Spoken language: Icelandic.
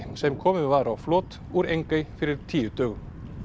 sem komið var á flot úr Engey fyrir tíu dögum